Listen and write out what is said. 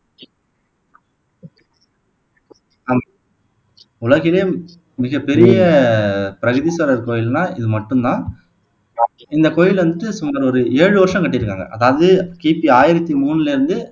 உலகிலே மிகப்பெரிய பிரகதீஸ்வரர் கோயில்னா இது மட்டும் தான் இந்த கோயில்ல வந்துட்டு சுமார் ஒரு ஏழு வருஷம் கட்டிருக்காங்க அதாவது கிபி ஆயிரத்து மூணுலருந்து